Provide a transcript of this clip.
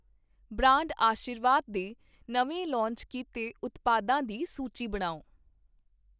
Brand Aashirvaad ਦੇ ਨਵੇਂ launch ਕੀਤੇ ਉਤਪਾਦਾਂ ਦੀ ਸੂਚੀ ਬਣਾਓ?